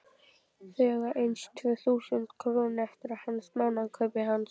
Þau eiga aðeins tvö þúsund krónur eftir af mánaðarkaupinu hans.